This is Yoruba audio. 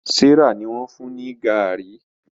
Serah ní wón fún ní garri.